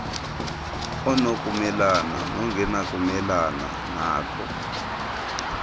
onokumelana nongenakumelana nako